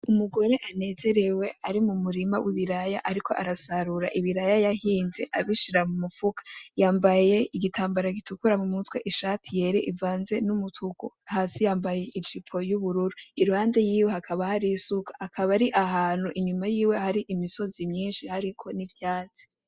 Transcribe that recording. Umugore anezerewe ari mu murima w'ibiraya ariko arasarura ibiraya yahinze abishira mu mufuka, yambaye igitambara gitukura mu mutwe; ishati yera ivanze n'umutuku; hasi yambaye ijipo y'ubururu, iruhande yiwe hakaba har' isuka, akaba ari ahantu inyuma yiwe hari imisozi myinshi hariko n'ivyatsi.